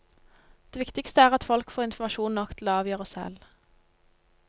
Det viktigste er at folk får informasjon nok til å avgjøre selv.